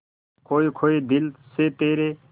खोए खोए दिल से तेरे